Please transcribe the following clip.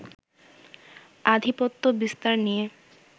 আধিপত্য বিস্তার নিয়ে